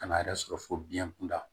Kan'a yɛrɛ sɔrɔ fo biyɛn kunda